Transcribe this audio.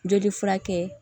Joli furakɛ